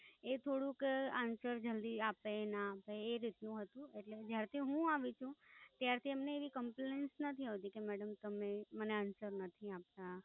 એ થોડુંક Answer જલ્દી આપે ના આપે, એ રીત નું હતું. એટલે, જ્યારથી હુ આવી છું, ત્યારથી એમને એવી Complies નથી આવતી કે મેડમ તમે મને Answer નથી આપતા.